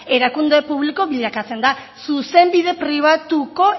erakunde publiko bilakatzen da zuzenbide pribatuko